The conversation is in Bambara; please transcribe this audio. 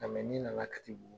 mɛ ni nana katibugu